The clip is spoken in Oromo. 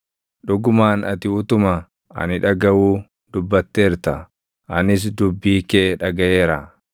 “Dhugumaan ati utuma ani dhagaʼuu dubbatteerta; anis dubbii kee dhagaʼeera.